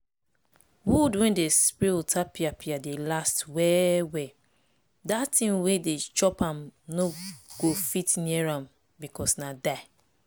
wood wey dem spray otapiapia dey last well well dat thing wey dey chop am no fit near am because na die.